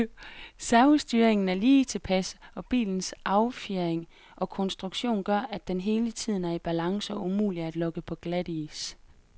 Servostyringen er lige tilpas, og bilens affjedring og konstruktion gør, at den hele tiden er i balance og umulig at lokke på glatis.